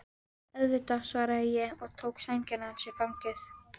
Auðvitað, svaraði ég og tók sængina hans í fangið.